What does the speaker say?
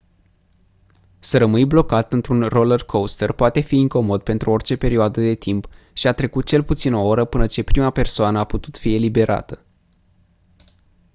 să rămâni blocat într-un roller-coaster poate fi incomod pentru orice perioadă de timp și a trecut cel puțin o oră până ce prima persoană a putut fi eliberată